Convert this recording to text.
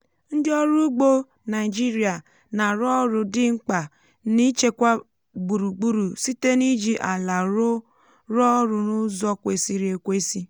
ndị ọrụ ugbo naịjịrịa na-arụ ọrụ dị mkpa n’ichekwa gburugburu site n’iji ala rụọ ọrụ n'ụzọ kwesịrị ekwesị